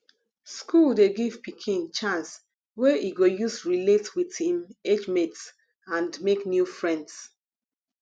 school dey give pikin chance wey e go use relate with im age mates and make new friends